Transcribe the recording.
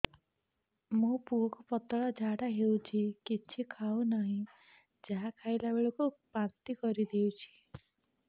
ମୋ ପୁଅ କୁ ପତଳା ଝାଡ଼ା ହେଉଛି କିଛି ଖାଉ ନାହିଁ ଯାହା ଖାଇଲାବେଳକୁ ବାନ୍ତି କରି ଦେଉଛି